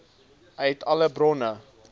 uit alle bronne